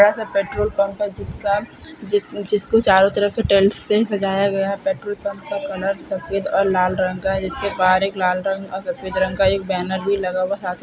बड़ासा petrol pump है जिसका जिस जिसको चारो तरफ से टेल्स लगाया गया है पेट्रोल पम्प का कलर सफ़ेद और लाल रंग का जिसके बाहर एक लाल रंग और सफ़ेद रंग का एक बैनर भी लगा हुआ साथ ही --